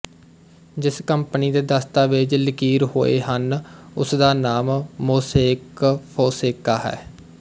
ਜਿਸ ਕੰਪਨੀ ਦੇ ਦਸਤਾਵੇਜ਼ ਲਕੀਰ ਹੋਏ ਹਨ ਉਸਦਾ ਨਾਮ ਮੋਸੇਕ ਫੋਂਸੇਕਾ ਹੈ